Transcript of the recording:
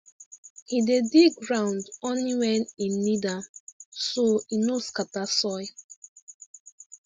he dey dig ground only when e need am so e no scatter soil